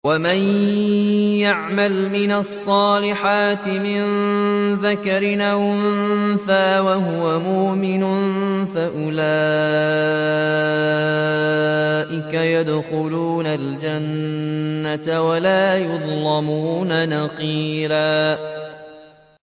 وَمَن يَعْمَلْ مِنَ الصَّالِحَاتِ مِن ذَكَرٍ أَوْ أُنثَىٰ وَهُوَ مُؤْمِنٌ فَأُولَٰئِكَ يَدْخُلُونَ الْجَنَّةَ وَلَا يُظْلَمُونَ نَقِيرًا